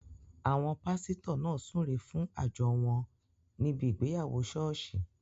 Àwọn pásítọ̀ náà súre fún àjọ wọn níbi ìgbéyàwó ṣọ́ọ̀ṣì